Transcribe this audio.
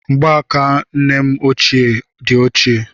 Mgbaaka nne m ochie ochie